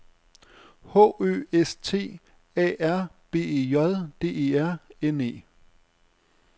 H Ø S T A R B E J D E R N E